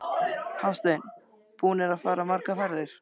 Hafsteinn: Búnir að fara margar ferðir?